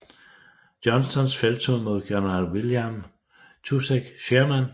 Johnstons felttog mod general William Tecumseh Sherman